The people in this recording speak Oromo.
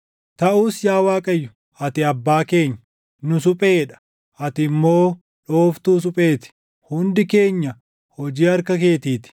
Taʼus yaa Waaqayyo, ati Abbaa keenya. Nu suphee dha; ati immoo dhooftuu suphee ti; hundi keenya hojii harka keetii ti.